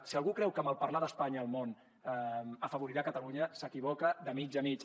si algú creu que malparlar d’espanya al món afavorirà catalunya s’equivoca de mig a mig